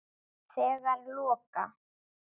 Þegar loka